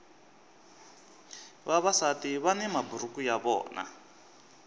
vavasati vani maburuku ya vona